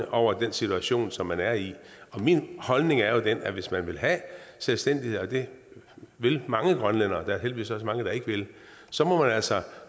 over den situation som man er i min holdning er jo den at hvis man vil have selvstændighed og det vil mange grønlændere men der er heldigvis også mange der ikke vil så må man altså